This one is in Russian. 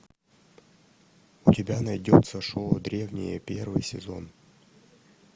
у тебя найдется шоу древние первый сезон